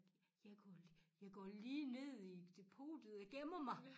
Jeg går jeg går lige ned i depotet og gemmer mig